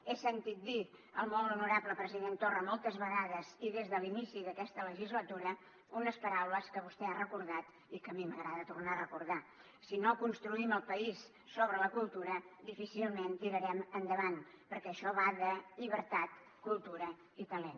he sentit dir al molt honorable president torra moltes vegades i des de l’inici d’aquesta legislatura unes paraules que vostè ha recordat i que a mi m’agrada tornar a recordar si no construïm el país sobre la cultura difícilment tirarem endavant perquè això va de llibertat cultura i talent